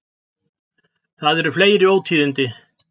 Það eru fleiri ótíðindi.